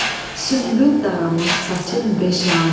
Sümbül daranmış saçın beşanə,